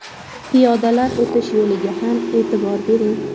Piyodalar o‘tish yo‘liga ham e’tibor bering.